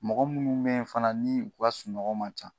Mɔgɔ munnu be yen fana ,ni u ka sunɔkɔ man ca.